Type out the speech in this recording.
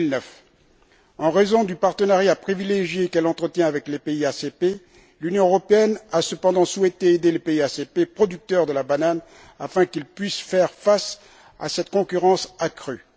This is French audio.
2009. En raison du partenariat privilégié qu'elle entretient avec les pays ACP, l'Union européenne a cependant souhaité aider les pays ACP producteurs de banane afin qu'ils puissent faire face à cette concurrence accrue.